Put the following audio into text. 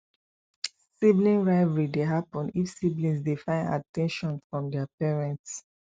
sibling rivalry de happen if siblings de find at ten tion from their parents